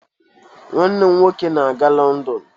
Nwanne m nwoke na-aga London